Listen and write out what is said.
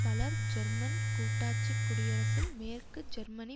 பலர் ஜெர்மன் கூட்டாட்சி குடியரசில் மேற்கு ஜெர்மனி